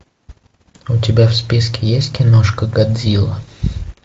у тебя в списке есть киношка годзила